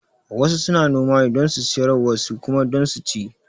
Wasu suna noma ne don su siyar wasu kuma don su ci